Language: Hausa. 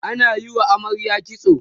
ana Yi wa amaryar kitso